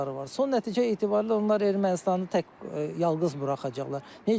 Son nəticə etibarilə onlar Ermənistanı tək yalqız buraxacaqlar.